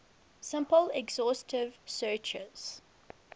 simple exhaustive searches